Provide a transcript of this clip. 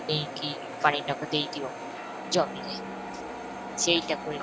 ନେଇକି ପାଣି ଟାକୁ ଦେଇ ଦିଅ ଜମିରେ ସେଇଟାକୁ ନେଇ